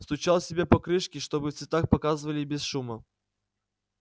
стучал себе по крышке чтобы в цветах показывали и без шума